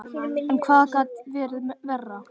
En hvað gat verið verra?